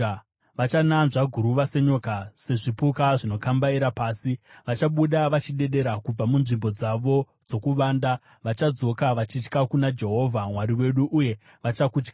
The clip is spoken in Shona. Vachananzva guruva senyoka, sezvipuka zvinokambaira pasi. Vachabuda vachidedera kubva munzvimbo dzavo dzokuvanda; vachadzoka vachitya kuna Jehovha Mwari wedu, uye vachakutyai.